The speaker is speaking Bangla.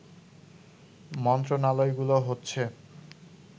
মন্ত্রণালয়গুলো হচ্ছে